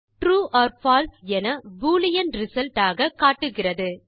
true or false என Boolean result ஆக காட்டுகிறது